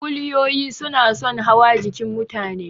Kuliyoyi suna son hawa jikin mutane.